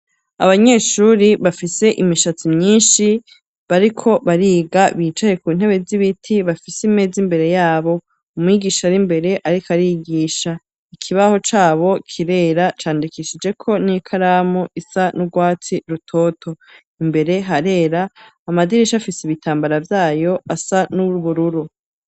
Abanyeshuri bafise imishatsi myinshi, bariko bariga, bicaye ku ntebe z'ibiti, bafise imeza imbere yabo; umwigisha ari imbere, ariko arigisha; ikibaho cabo kirera, candikishijeko n'ikaramu isa n'urwatsi rutoto; imbere harera, amadirisha afise ibitambara vyayo, asa n'ubururu.